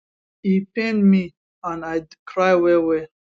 e pain me and i cry well well